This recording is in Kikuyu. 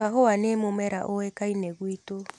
Kahũa nĩ mũmera ũĩkaine gwitu.